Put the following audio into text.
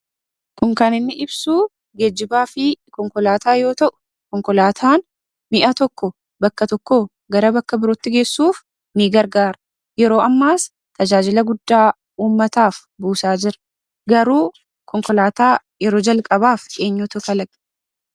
Kun kan inni ibsu geejjibaa fi konkolaataa yoo ta'u, konkolaataan mi'a tokko bakka tokkoo gara bakka birootti geessuuf ni gargaara. Yeroo ammaas tajaajila guddaa uummataaf buusaa jira. Garuu konkolaataa yeroo calqabaaf eenyutu kalaqe?